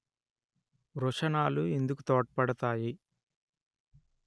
వృషణాలు ఇందుకొ తోడ్పడతాయి